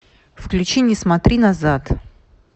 включи не смотри назад